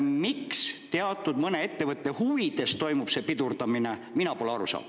Miks mõne teatud ettevõtte huvides toimub see pidurdamine, sellest mina pole aru saanud.